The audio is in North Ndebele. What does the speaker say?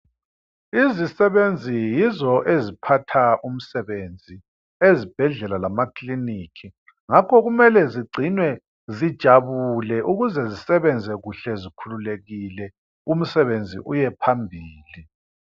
Izisebenzi yizo eziphatha umsebenzi ezibhedlela lemakiliniki ngakho kumele zigcinwe zijabule ukuze zisebenze kuhle zikhululekile umsebenzi uye phambili.